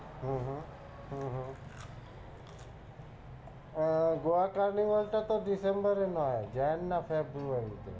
হম হম হম হম আহ গোয়া carnival টা তো ডিসেম্বরে নয় Jan না ফেব্রুয়ারিতে।